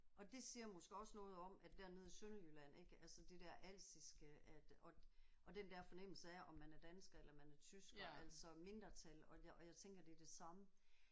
Og det siger måske også noget om at dernede i Sønderjylland ik altså det der alsiske at og og den der fornemmelse af om man er dansker eller man er tysker altså mindretal og jeg og jeg tænker det er det samme